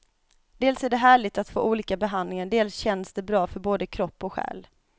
Dels är det härligt att få olika behandlingar, dels känns det bra både för kropp och själ.